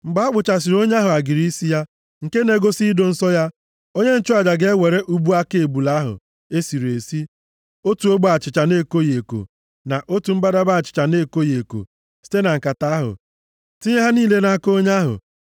“ ‘Mgbe a kpụchasịrị onye ahụ agịrị isi ya, nke na-egosi ido nsọ ya, onye nchụaja ga-ewere ubu aka ebule ahụ e sịrị esi, otu ogbe achịcha na-ekoghị eko na otu mbadamba achịcha na-ekoghị eko site na nkata ahụ, tinye ha niile nʼaka onye ahụ.